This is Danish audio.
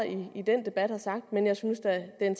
i den debat har sagt men jeg synes da at